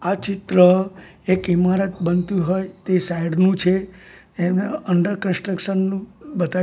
આ ચિત્ર એક ઇમારત બનતુ હોય તે સાઇડ નુ છે એને અંડર કન્સ્ટ્રક્શન નુ બતાયુ--